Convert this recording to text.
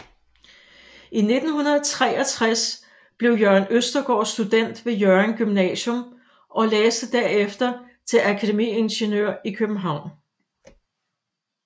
I 1963 blev Jørgen Østergaard student ved Hjørring Gymnasium og læste derefter til akademiingeniør i København